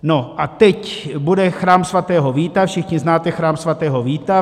No a teď bude Chrám svatého Víta, všichni znáte Chrám svatého Víta.